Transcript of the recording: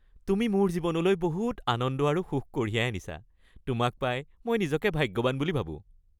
তুমি মোৰ জীৱনলৈ বহুত আনন্দ আৰু সুখ কঢ়িয়াই আনিছা। তোমাক পাই মই নিজকে ভাগ্যৱান বুলি ভাবোঁ।